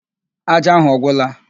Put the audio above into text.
Ájá ahụ ọ gwụla?